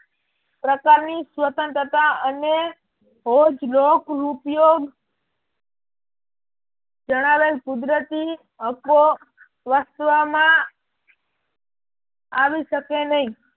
પ્રકાર ની સ્વતંત્રતા અને ભોજ લોક ઉપયોગ જણાવેલ કુદરતી હકો વસવામાં આવી શકે નહિ.